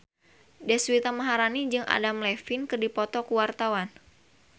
Deswita Maharani jeung Adam Levine keur dipoto ku wartawan